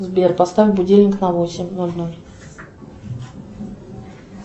сбер поставь будильник на восемь ноль ноль